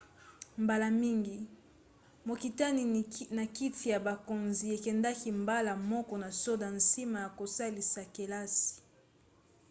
mbala mingi mokitani na kiti ya bokonzi ekendaka mbala moko na soda nsima ya kosilisa kelasi